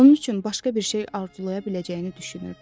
Onun üçün başqa bir şey arzulaya biləcəyini düşünürdü.